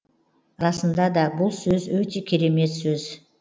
расында да бұл сөз өте керемет сөз